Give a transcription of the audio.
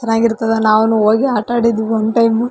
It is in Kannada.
ಚೆನ್ನಾಗಿರ್ತದ ನಾವುನು ಹೋಗಿ ಆಟ ಆಡಿದ್ವಿ ಒನ್ ಟೈಮ್ .